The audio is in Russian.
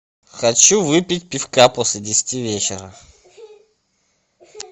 хочу выпить пивка после десяти вечера